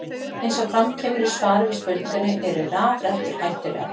Eins og fram kemur í svari við spurningunni Eru rafrettur hættulegar?